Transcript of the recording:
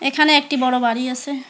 এখানে একটি বড় বাড়ি আসে।